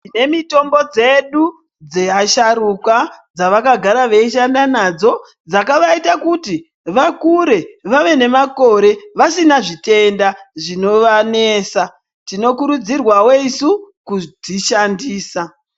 Tinemitombo dzedu dzeasharukwa dzavakagara veishanda nadzo, dzakavaita kuti vakure, vave nemakore vasina zvitenda zvinovanesa. Tinokurudzirwawo isu kudzishandisa.